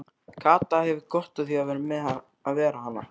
Kata hefur gott af því að vera hann.